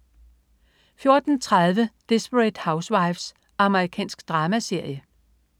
14.30 Desperate Housewives. Amerikansk dramaserie